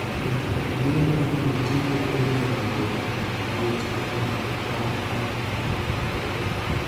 thieth kod bero inyalo tigo e nyago kuot makama